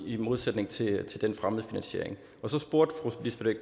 i modsætning til fremmedfinansiering så spurgte